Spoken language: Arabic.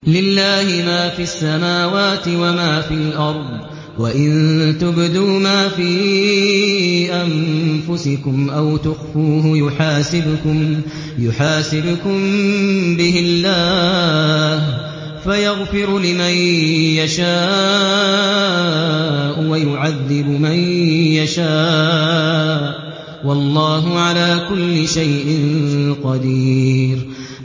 لِّلَّهِ مَا فِي السَّمَاوَاتِ وَمَا فِي الْأَرْضِ ۗ وَإِن تُبْدُوا مَا فِي أَنفُسِكُمْ أَوْ تُخْفُوهُ يُحَاسِبْكُم بِهِ اللَّهُ ۖ فَيَغْفِرُ لِمَن يَشَاءُ وَيُعَذِّبُ مَن يَشَاءُ ۗ وَاللَّهُ عَلَىٰ كُلِّ شَيْءٍ قَدِيرٌ